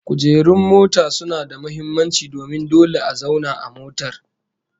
Kujerun mota suna da muhimmanci domin dole a zauna a motar